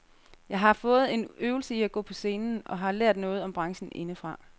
Jeg har fået en øvelse i at gå på scenen og har lært noget om branchen indefra.